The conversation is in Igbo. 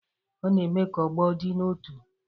Ọ na-eme ka ọgbọ dị n'otu.